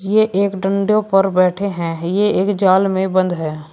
ये एक डंडे पर बैठे हैं ये एक जाल में बंद है।